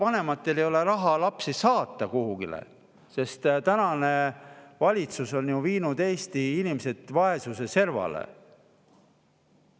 Vanematel ei ole raha lapsi saata kuhugile, sest tänane valitsus on ju viinud Eesti inimesed vaesuse servale.